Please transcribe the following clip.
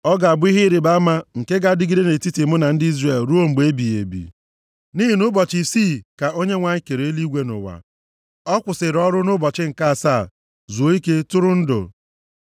Ọ ga-abụ ihe ịrịbama nke ga-adịgide nʼetiti mụ na ndị Izrel ruo mgbe ebighị ebi. Nʼihi na nʼụbọchị isii ka Onyenwe anyị kere eluigwe na ụwa. Ọ kwụsịrị ọrụ nʼụbọchị nke asaa, zuo ike, turu ndụ.’ ”